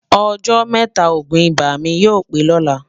ọ̀jọ́ métà ògún ibà mí yọ̀ pé lọ̀lá